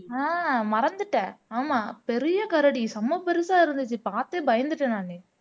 ஆஹ் மறந்துட்டேன் ஆமா பெரிய கரடி செம பெருசா இருந்துச்சு பார்த்தே பயந்துட்டேன் நானு